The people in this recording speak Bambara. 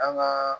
An ka